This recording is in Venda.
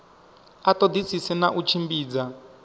a ṱoḓisise na u tshimbidza